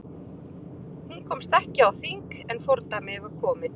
Hún komst ekki á þing en fordæmið var komið.